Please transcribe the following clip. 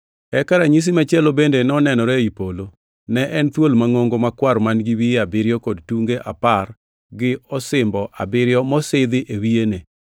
Eka ranyisi machielo bende nonenore ei polo: ne en thuol mangʼongo, makwar man-gi wiye abiriyo kod tunge apar gi osimbo abiriyo mosidhi e wiyene.